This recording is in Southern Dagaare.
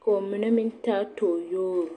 ka ba mine meŋ taa tooyogri.